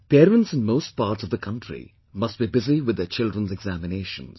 Parents in most parts of the country must be busy with their children's examinations